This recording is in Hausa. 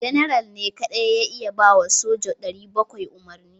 General ne kadai ya iya ba wa soja 700 umarni